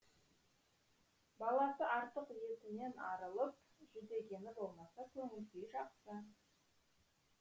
баласы артық етінен арылып жүдегені болмаса көңіл күйі жақсы